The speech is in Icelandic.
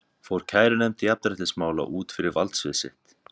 Fór kærunefnd jafnréttismála út fyrir valdsvið sitt?